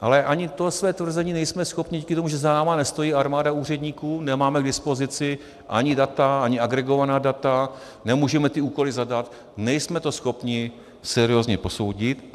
Ale ani to své tvrzení nejsme schopni, díky tomu, že za námi nestojí armáda úředníků, nemáme k dispozici ani data, ani agregovaná data, nemůžeme ty úkoly zadat, nejsme to schopni seriózně posoudit.